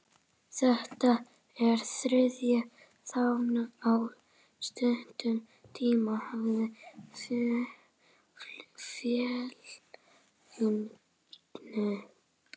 Þetta er þriðji þjálfarinn á stuttum tíma hjá félaginu.